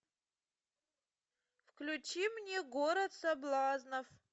включи мне город соблазнов